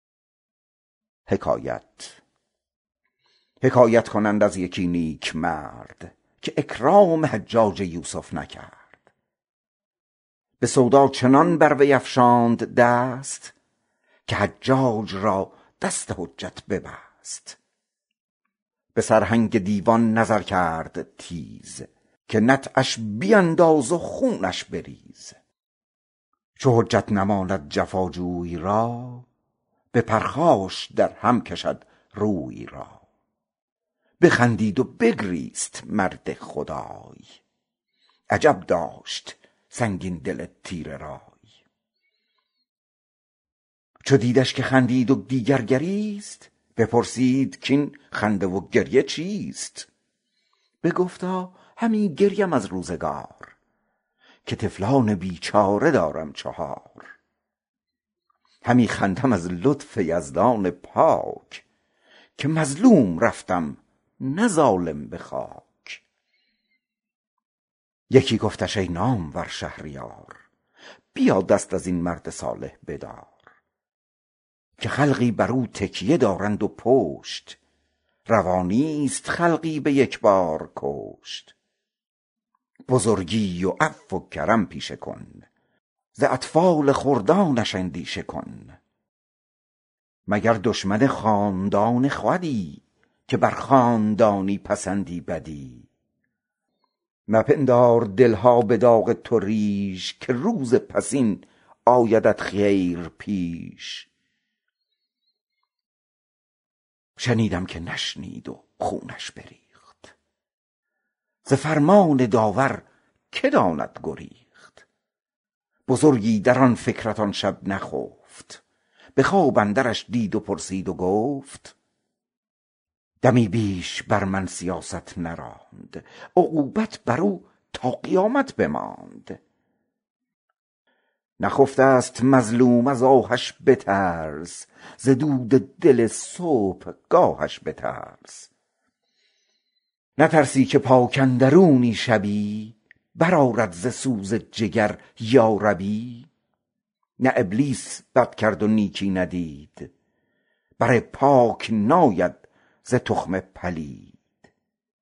حکایت کنند از یکی نیکمرد که اکرام حجاج یوسف نکرد به سرهنگ دیوان نگه کرد تیز که نطعش بیانداز و خونش بریز چو حجت نماند جفا جوی را به پرخاش در هم کشد روی را بخندید و بگریست مرد خدای عجب داشت سنگین دل تیره رای چو دیدش که خندید و دیگر گریست بپرسید کاین خنده و گریه چیست بگفتا همی گریم از روزگار که طفلان بیچاره دارم چهار همی خندم از لطف یزدان پاک که مظلوم رفتم نه ظالم به خاک پسر گفتش ای نامور شهریار یکی دست از این مرد صوفی بدار که خلقی بر او روی دارند و پشت نه رای است خلقی به یک بار کشت بزرگی و عفو و کرم پیشه کن ز خردان اطفالش اندیشه کن شنیدم که نشنید و خونش بریخت ز فرمان داور که داند گریخت بزرگی در آن فکرت آن شب بخفت به خواب اندرش دید و پرسید و گفت دمی بیش بر من سیاست نراند عقوبت بر او تا قیامت بماند نخفته ست مظلوم از آهش بترس ز دود دل صبحگاهش بترس نترسی که پاک اندرونی شبی بر آرد ز سوز جگر یا ربی نه ابلیس بد کرد و نیکی ندید بر پاک ناید ز تخم پلید